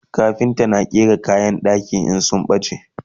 kafinta na gyaran kayan ɗaki in sun bace